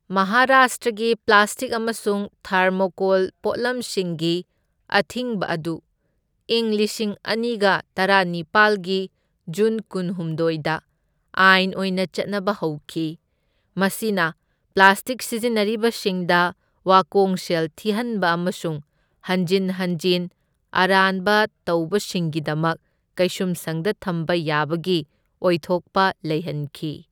ꯃꯍꯥꯔꯥꯁꯇ꯭ꯔꯒꯤ ꯄ꯭ꯂꯥꯁꯇꯤꯛ ꯑꯃꯁꯨꯡ ꯊꯥꯔꯃꯣꯀꯣꯜ ꯄꯣꯠꯂꯝꯁꯤꯡꯒꯤ ꯑꯊꯤꯡꯕ ꯑꯗꯨ ꯏꯪ ꯂꯤꯁꯤꯡ ꯑꯅꯤꯒ ꯇꯔꯥꯅꯤꯄꯥꯜꯒꯤ ꯖꯨꯟ ꯀꯨꯜꯍꯨꯝꯗꯣꯢꯗ ꯑꯥꯏꯟ ꯑꯣꯏꯅ ꯆꯠꯅꯕ ꯍꯧꯈꯤ, ꯃꯁꯤꯅ ꯄ꯭ꯂꯥꯁꯇꯤꯛ ꯁꯤꯖꯤꯟꯅꯔꯤꯕꯁꯤꯡꯗ ꯋꯥꯀꯣꯡꯁꯦꯜ ꯊꯤꯍꯟꯕ ꯑꯃꯁꯨꯡ ꯍꯟꯖꯤꯟ ꯍꯟꯖꯤꯟ ꯑꯔꯥꯟꯕ ꯇꯧꯕꯁꯤꯡꯒꯤꯗꯃꯛ ꯀꯩꯁꯨꯝꯁꯪꯗ ꯊꯝꯕ ꯌꯥꯕꯒꯤ ꯑꯣꯏꯊꯣꯛꯄ ꯂꯩꯍꯟꯈꯤ꯫